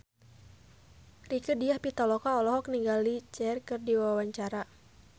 Rieke Diah Pitaloka olohok ningali Cher keur diwawancara